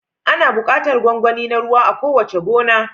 Ana buƙatar gwangwani na ruwa a kowace gona.